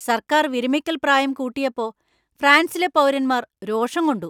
സർക്കാർ വിരമിക്കൽപ്രായം കൂട്ടിയപ്പോ ഫ്രാൻസിലെ പൗരന്മാർ രോഷം കൊണ്ടു.